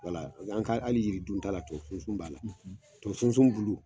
an ka hali yiri dun ta la tubabu sunsun b'a la, tubabu sunsun bulu